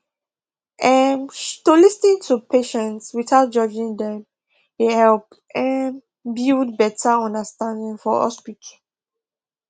um to lis ten to patients without judging dem dey help um build better understanding for hospital